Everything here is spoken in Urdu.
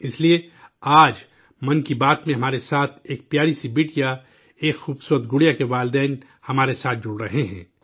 اس لیے آج 'من کی بات' میں ہمارے ساتھ ایک پیاری سی بٹیا، ایک خوبصورت گڑیا کے والد اور ان کی والدہ ہمارے ساتھ جڑنے جا رہے ہیں